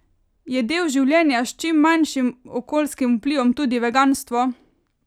Je del življenja s čim manjšim okoljskim vplivom tudi veganstvo?